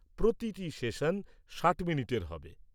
প্রতিটি সেশন ষাট মিনিটের হবে।